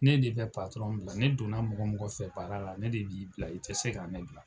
Ne de be patɔrɔn bila ne donna mɔgɔ mɔgɔ fɛ baara la ne de b'i bila i tɛ se ka ne bila